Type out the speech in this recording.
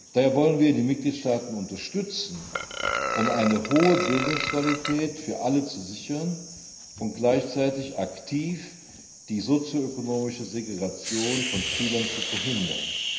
Daher wollen wir die Mitgliedstaaten unterstützen, um eine hohe Bildungsqualität für alle zu sichern und gleichzeitig aktiv die sozio ökonomische Segregation von Schülern zu verhindern.